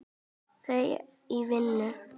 Þau í vinnu.